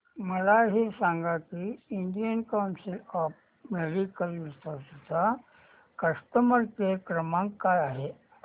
मला हे सांग की Indian council of medical research चा कस्टमर केअर क्रमांक काय आहे